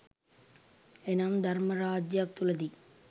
එනම් ධර්ම රාජ්‍යයක් තුළදී